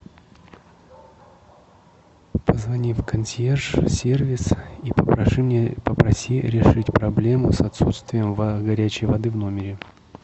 позвони в консьерж сервис и попроси решить проблему с отсутствием горячей воды в номере